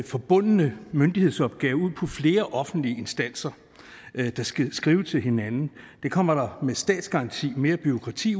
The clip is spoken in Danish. forbundne myndighedsopgaver ud på flere offentlige instanser der skal skrive til hinanden det kommer der med statsgaranti mere bureaukrati